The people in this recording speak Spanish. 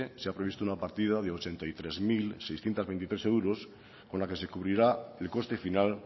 se ha previsto una partida de ochenta y tres mil seiscientos veintitrés euros con la que se cubrirá el coste final